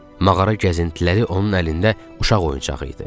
Mağara gəzintiləri onun əlində uşaq oyuncağı idi.